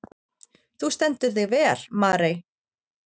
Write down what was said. Þú stendur þig vel, Marey!